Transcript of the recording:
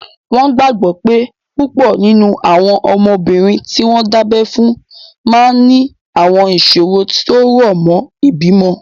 Wọ́n gbàgbọ́ pé púpọ̀ nínú àwọn ọmọbìnrin tí wọ́n dábẹ́ fún máa ní àwọn ìṣòro tó rọ̀ mọ́ ìbímọ